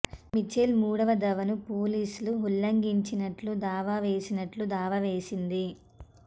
Mitchell మూడవ దావాను పోలీసులు ఉల్లంఘించినట్లు దావా వేసినట్లు దావా వేసింది